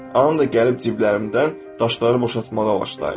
Anam da gəlib ciblərimdən daşları boşaltmağa başlayırdı.